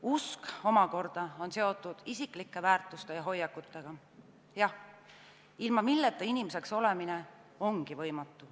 Usk omakorda on seotud isiklike väärtuste ja hoiakutega, ilma milleta inimeseks olemine ongi võimatu.